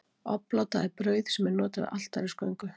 obláta er brauð sem er notað við altarisgöngu